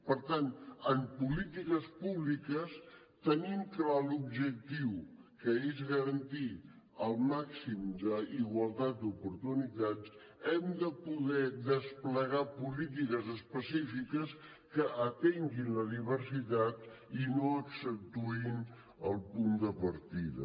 per tant en polítiques públiques tenint clar l’objectiu que és garantir el màxim d’igualtat d’oportunitats hem de poder desplegar polítiques específiques que atenguin la diversitat i no accentuïn el punt de partida